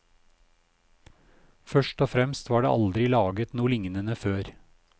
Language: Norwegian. Først og fremst var det aldri laget noe lignende før.